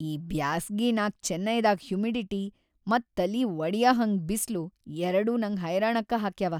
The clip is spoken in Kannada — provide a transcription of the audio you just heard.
ಈ ಬ್ಯಾಸ್ಗಿನ್ಯಾಗ್ ಚೆನ್ನೈದಾಗ್‌‌ ಹ್ಯುಮಿಡಿಟಿ ಮತ್ತ ತಲಿ ವಡಿಯಹಂಗ್ ಬಿಸ್ಲು ಎರ್ಡೂ ನಂಗ್ ಹೈರಾಣಕ್ಕ ಹಾಕ್ಯಾವ.